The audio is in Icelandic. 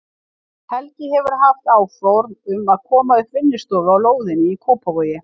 Helgi hefur haft áform um að koma upp vinnustofu á lóðinni í Kópavogi.